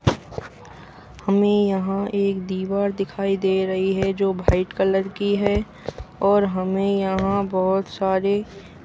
हमें यहाँ एक दिवार दिखाई दे रही है जो भाइट कलर की है और हमें यहाँ बहोत सारी बदक को की --